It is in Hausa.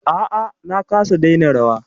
A'a na kasa daina rawa.